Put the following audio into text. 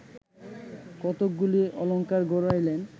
কতকগুলি অলঙ্কার গড়াইলেন